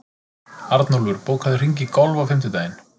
Arnúlfur, bókaðu hring í golf á fimmtudaginn.